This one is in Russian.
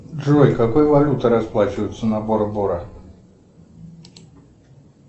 джой какой валютой расплачиваются на бора бора